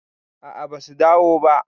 a a basu dawo ba